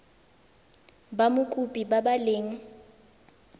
ba mokopi ba ba leng